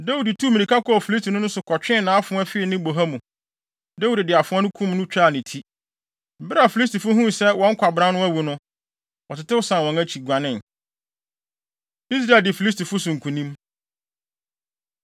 Dawid tuu mmirika kɔɔ Filistini no so kɔtwee nʼafoa fii ne boha mu. Dawid de afoa no kum no twaa ne ti. Bere a Filistifo huu sɛ wɔn kwabran no awu no, wɔtetew san wɔn akyi, guanee. Israel Di Filistifo So Nkonim